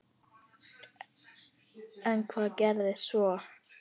En hvað gerist svo?